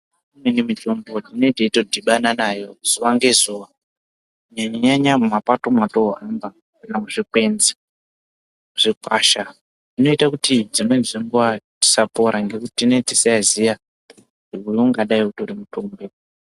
Imwe mitombo tinonga teitodhibana nayo zuwa ngezuwa kunyanya nyanya mumapato mwetohamba kana muzvikwenzi zvepashi apa. Zvinoita kuti dzimweni dzenguwa tisapora ngekuti tineetisaiziya kuti uwu ungadai utori mutombo.